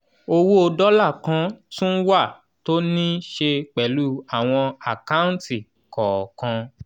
owó dọ́là kan tún wà tó níí ṣe pẹ̀lú àwọn àkáǹtì kọ̀ọ̀kan.